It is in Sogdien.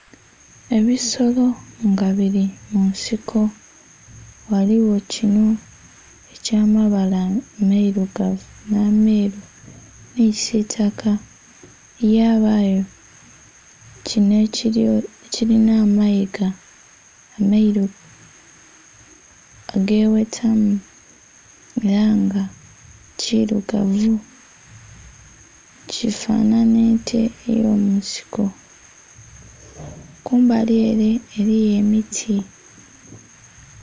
Ebisolo nga bili mu nsiko. Ghaligho kinho eky'amabala amailugavu nh'ameeru, nhi kisiitaka, yabaayo kinho kilina amayiga ameeru ageghetamu, ela nga kilugavu, kifanhanha ente ey'omunsiko, kumbali ele eliyo emiti.